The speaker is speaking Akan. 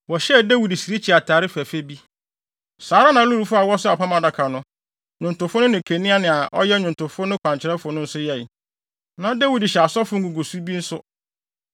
Wɔhyɛɛ Dawid sirikyi atade fɛfɛ bi. Saa ara na Lewifo a wɔsoaa Apam Adaka no, nnwontofo no ne Kenania a ɔyɛ nnwontofo no kwankyerɛfo no nso yɛe. Na Dawid hyɛ asɔfo nguguso bi nso.